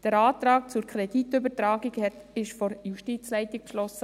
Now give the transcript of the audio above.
Der Antrag zur Kreditübertragung wurde von der Justizleitung beschlossen.